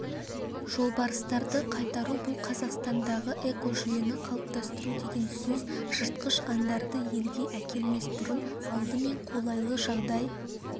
жолбарыстарды қайтару бұл қазақстандағы экожүйені қалыптастыру деген сөз жыртқыш аңдарды елге әкелмес бұрын алдымен қолайлы жағдай